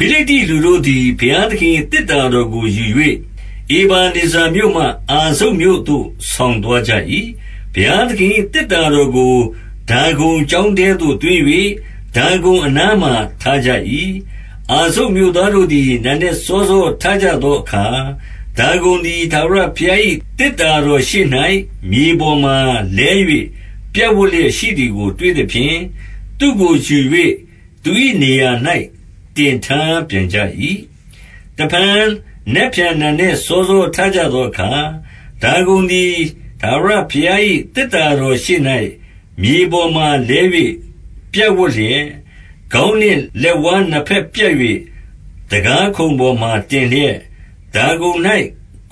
ဖိလိတ္တိလူတို့သည် ဘုရားသခင်၏ သေတ္တာတော်ကို ယူ၍ ဧဗနေဇာမြို့မှ အာဇုတ်မြို့သို့ ဆောင်သွား ကြ၏။ 2 ဘုရားသခင်၏ သေတ္တာတော်ကို ဒါဂုန်ကျောင်းထဲသို့ သွင်း၍ ဒါဂုန်အနားမှာ ထားကြ၏။ 3 အာဇုတ်မြို့သားတို့သည် နံနက်စောစော ထကြသောအခါ၊ ဒါဂုန်သည် ထာဝရဘုရား၏ သေတ္တာ တော်ရှေ့၌ မြေပေါ်မှာလဲ၍ ပြပ်ဝပ်လျက်ရှိသည်ကို တွေသဖြင့်၊ သူ့ကိုယူ၍ သူ၏နေရာ၌ တင်ထား ပြန်ကြ၏။ 4 တဖန် နက်ဖြန်နံနက် စောစောထကြသောအခါ၊ ဒါဂုန်သည် ထာဝရဘုရား၏ သေတ္တာတော်ရှေ့၌ မြေပေါ်မှာ လဲ၍ ပြပ်ဝပ်လျက်၊ ခေါင်းနှင့် လက်ဝါးနှစ်ဘက် ပြတ်၍ တံခါးခုံပေါ်မှာတင်လျက်၊ ဒါဂုန်၌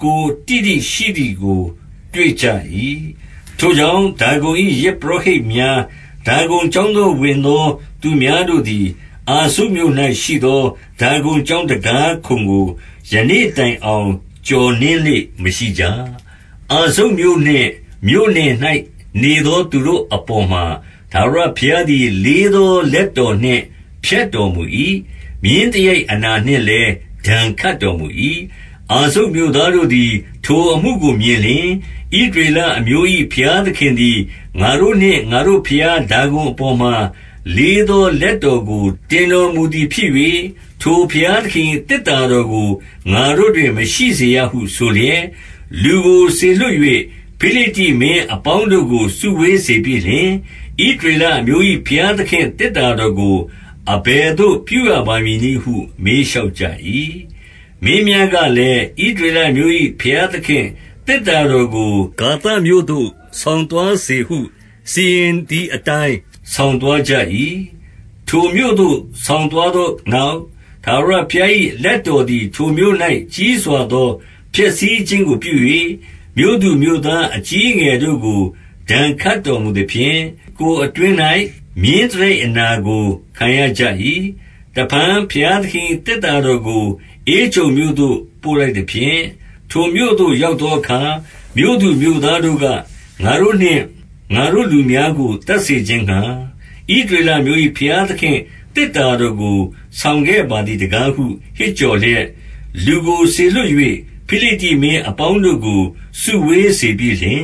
ကိုယ်တိတိရှိသည်ကို တွေ့ကြ၏။ 5 ထိုကြောင့် ဒါဂုန်၏ ယဇ်ပုရောဟိတ်များ၊ ဒါဂုန်ကျောင်းသို့ ဝင်သောသူများတို့သည်၊ အာဇုတ်မြို့၌ ရှိသော ဒါဂုန်ကျောင်းတံခါးခုံကို ယနေ့တိုင်အောင် ကျော်နင်းလေ့မရှိကြ။ 6 အာဇုတ်မြို့နှင့်မြို့နယ်၌နေသော သူတို့အပေါ်မှာ၊ ထာဝရဘုရားသည် လေးသောလက်တော်နှင့် ဖျက်တော်မူ၏။ မြင်းသရိုက် အနာနှင့်လည်း ဒဏ်ခတ်တော်မူ၏။ 7 အာဇုတ်မြို့သားတို့သည် ထိုအမှုကို မြင်လျှင်၊ ဣသရေလအမျိုး၏ ဘုရားသခင်သည် ငါတို့နှင့် ငါတို့ဘုရား ဒါဂုန်အပေါ်မှာ လေးသောလက်တော်ကို တင်တော်မူသည်ဖြစ်၍၊ ထိုဘုရားသခင်၏ သေတ္တာတော်ကို ငါတို့တွင် မရှိစေရဟု ဆိုလျက်၊ 8 လူကိုစေလွှတ်၍ ဖိလိတ္တိမင်းအပေါင်းတို့ကို စုဝေးစေပြီးလျှင်၊ ဣသရေလအမျိုး၏ ဘုရားသခင့် သေတ္တာတော်ကို အဘယ်သို့ ပြုရပါမည်နည်းဟု မေးကြ၏။ မင်းများကလည်း၊ ဣသရေလအမျိုး၏ ဘုရားသခင့်သေတ္တာတော်ကို ဂါသမြို့သို့ ဆောင်သွားစေဟု စီရင်သည်အတိုင်း ဆောင်သွားကြ၏။ 9 ထိုမြို့သို့ ဆောင်သွားသောနောက်၊ ထာဝရဘုရား၏ လက်တော်သည် ထိုမြို့၌ ကြီးစွာသော ဖျက်ဆီးခြင်းကို ပြု၍၊ မြို့သူမြို့သား အကြီးအငယ်တို့ကို ဒဏ်ခတ်တော်မူသဖြင့်၊ ကိုယ်အတွင်း၌ မြင်းသရိုက်အနာကို ခံရကြ၏။ 10 တဖန် ဘုရားသခင်၏ သေတ္တာတော်ကို ဧကြုန်မြို့သို့ ပို့လိုက်သဖြင့်၊ ထိုမြို့သို့ ရောက်သောအခါ၊ မြို့သူမြို့သားတို့က၊ ငါတို့နှင့် ငါတို့လူများကို သတ်စေခြင်းငှါ၊ ဣသရေလအမျိုး၏ ဘုရားသခင့် သေတ္တာတော်ကို ဆောင်ခဲ့ပါသည်တကားဟု ဟစ်ကြော်လျက်၊ 11 လူကိုစေလွှတ်၍ ဖိလိတ္တိမင်းအပေါင်းတို့ကို စုဝေးစေပြီးလျှင်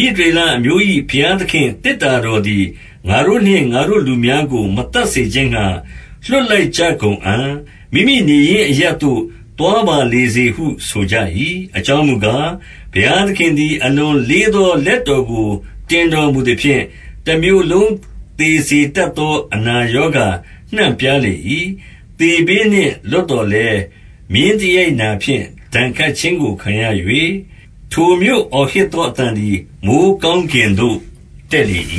၊ ဣသရေလအမျိုး၏ ဘုရားသခင့် သေတ္တာတော်သည် ငါတို့နှင့်ငါတို့လူများကို မသတ်စေခြင်းငှါ လွှတ်လိုက်ကြကုန်အံ့၊ မိမိနေရင်း အရပ်သို့ သွားပါလေစေဟု ဆိုကြ၏။ အကြောင်းမူကား၊ ဘုရားသခင်သည် အလွန်လေးသော လက်တော်ကို တင်တော်မူသဖြင့်၊ တမြို့လုံးသေစေတတ်သော အနာရောဂါ နှံ့ပြားလေ၏။ 12 သေဘေးနှင့်လွတ်သော်လည်း မြင်းသရိုက်နာဖြင့် ဒဏ်ခတ်ခြင်းကိုခံရ၍၊ ထိုမြို့အော်ဟစ်သော အသံ သည် မိုဃ်းကောင်းကင်သို့ တက်လေ၏။